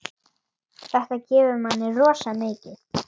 Þetta gefur manni rosa mikið.